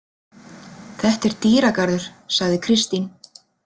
Þetta er dýragarður, sagði Kristín.